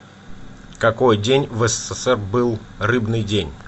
в какой день в ссср был рыбный день